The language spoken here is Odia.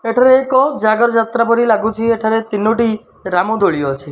ଏଠାରେ ଏକ ଜାଗର ଯାତ୍ରା ପରି ଲାଗୁଛି। ଏଠାରେ ତିନୋଟି ରାମ ଦୋଳି ଅଛି।